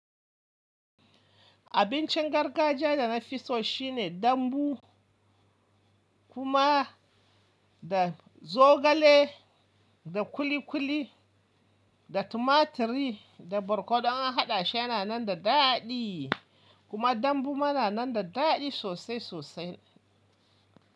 Abincin gargajiya da nafi so shine dambu kuma da zogale da kuli kuli da tumaturi da borkonu an haɗa shi yana nan da daɗi kuma dambu ma na nan da daɗi sosai sosai.